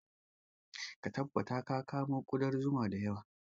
Ka tabbatar ka kamo ƙudar zuma da yawa